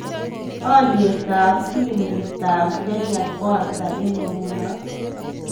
Alyetap silingiitap Kenya ko ata eng' nguno